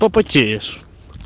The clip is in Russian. потеешь